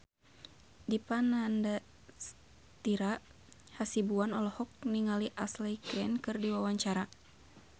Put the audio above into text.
Dipa Nandastyra Hasibuan olohok ningali Ashley Greene keur diwawancara